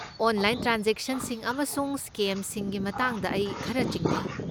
Online ꯇ꯭ꯔꯥꯟꯖꯦꯛꯁꯟꯁꯤꯡ ꯑꯃꯁꯨꯡ ꯁ꯭ꯀꯦꯝꯁꯤꯡꯒꯤ ꯃꯇꯥꯡꯗ ꯑꯩ ꯈꯔ ꯆꯤꯡꯅꯩ꯫